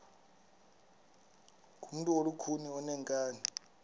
ngumntu olukhuni oneenkani